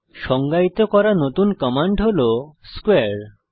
সংজ্ঞায়িত করা নতুন কমান্ড হল স্কোয়ারে